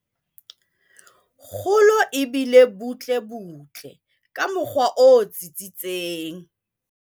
Kgolo e bile butlebutle ka mokgwa o tsitsitseng.